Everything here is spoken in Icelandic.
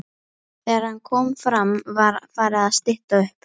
Þegar hann kom fram var farið að stytta upp.